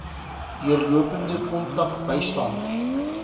deurlopende kontak bystand